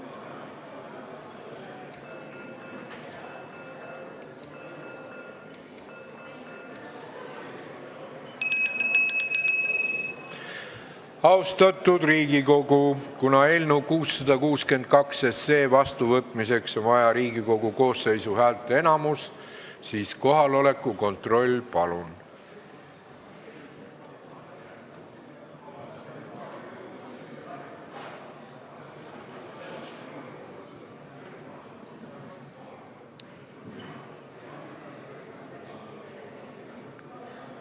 Austatud Riigikogu, kuna eelnõu 662 vastuvõtmiseks on vaja Riigikogu koosseisu häälteenamust, siis kohaloleku kontroll, palun!